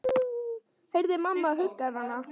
Heyri að mamma huggar hann.